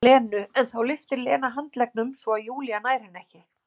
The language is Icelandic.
Lenu en þá lyftir Lena handleggnum svo að Júlía nær henni ekki.